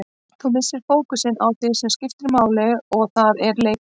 Þú missir fókusinn á því sem skiptir máli og það er leikurinn.